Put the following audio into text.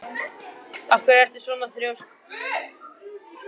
Af hverju ertu svona þrjóskur, Geirarður?